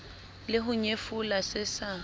le ho nyefola se sa